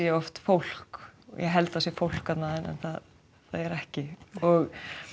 oft fólk ég held það sé fólk þarna en það er ekki ég